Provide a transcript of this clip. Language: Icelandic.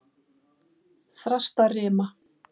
Þrastarima